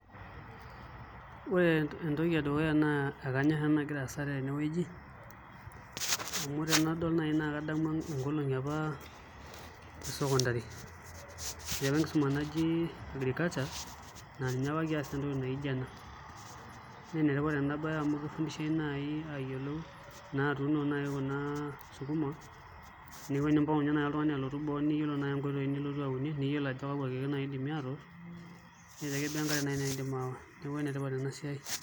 Ore entoki edukuya naa akanyorr ena nagira aasa tenewueji amu tenadol naai naa kadamu nkolong'i apa esekondari etii apa enkisuma naji agriculture naa ninye apa kias entoki naa ijio ena naa enetipat enabaye amu kifundishiai naai tayiolo naa atuuno naai kuna sukuma neeku enimpang'u ninye naai oltung'ani alotu boo nitum naai nkoitoi nilotu auni niyiolo ajo kakua keek idimi naa atosh, neeku enetipata naai ena siai.